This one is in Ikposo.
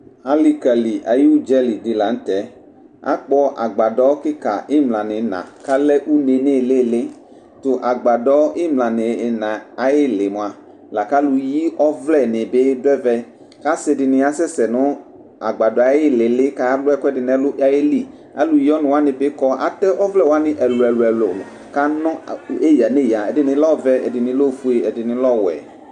Alikika ayʋ ʋdzaki di lanʋtɛ akpɔ agbadɔ kika imla nʋ ina kʋ alɛ une nʋ ilili tʋ agbadɔ nʋ imla nʋ ina ayʋ ili mʋa lakʋ alʋyi ɔvlɛ nibi dʋ ɛfɛ kʋ asidi asɛsɛ nʋ agbadɔ yɛ ayʋ ilili kʋ alʋ ɛkʋɛdi nʋ ɛlʋ kʋ ayeli alʋyi ɔnʋ wani bi kɔ atɛ ɔvlɛ wani ɛlʋ elʋ ɛlʋ nʋ eya nʋ eya ɛdini lɛ ɔvɛ ɛdini lɛ ofue ɛdini lɛ ɔwɛ